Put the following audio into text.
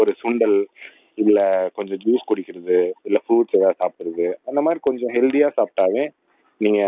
ஒரு சுண்டல் இல்லை கொஞ்சம் ஜூஸ் குடிக்கிறது இல்லை ப்ரூட்ஸ் ஏதாவது சாப்பிடுறது அந்த மாதிரி கொஞ்சம் ஹெல்த்தியா சாப்பிட்டாலே நீங்க